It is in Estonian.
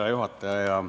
Hea juhataja!